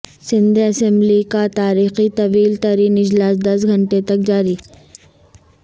Sindh assembly کا تاریخی طویل ترین اجلاس دس گھنٹے تک جاری